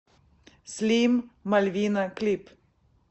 слим мальвина клип